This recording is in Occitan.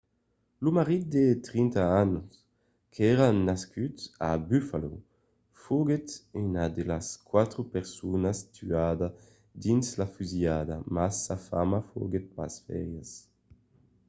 lo marit de 30 ans qu'èra nascut a buffalo foguèt una de las quatre personas tuadas dins la fusilhada mas sa femna foguèt pas ferida